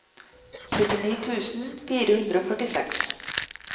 syttini tusen fire hundre og førtiseks